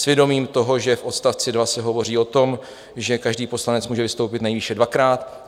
S vědomím toho, že v odstavci 2 se hovoří o tom, že každý poslanec může vystoupit nejvýše dvakrát.